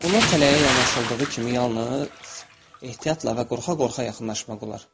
Ona tələyə yanaşıldığı kimi yalnız ehtiyatla və qorxa-qorxa yaxınlaşmaq olar.